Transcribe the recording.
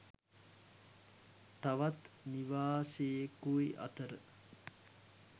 තවත් නිවාසෙකුයි අතර